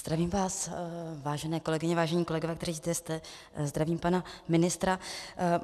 Zdravím vás, vážené kolegyně, vážení kolegové, kteří zde jste, zdravím pana ministra.